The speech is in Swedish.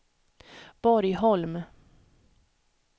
Borgholm